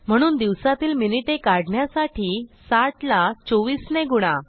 म्हणून दिवसातील मिनिटे काढण्यासाठी 60ला 24 ने गुणा